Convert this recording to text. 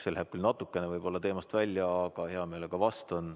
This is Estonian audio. See läheb küll natukene võib-olla teemast välja, aga hea meelega vastan.